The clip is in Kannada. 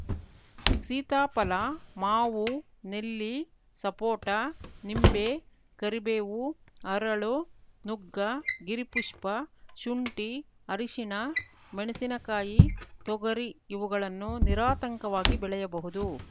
ಸೀತಾಫಲ ಮಾವು ನೆಲ್ಲಿ ಸಪೋಟ ನಿಂಬೆ ಕರಿಬೇವು ಹರಳು ನುಗ್ಗ ಗಿರಿಪುಷ್ಪ ಶುಂಠಿ ಅರಿಶಿಣ ಮೆಣಸಿನಕಾಯಿ ತೊಗರಿ ಇವುಗಳನ್ನು ನಿರಾತಂಕವಾಗಿ ಬೆಳೆಯಬಹುದು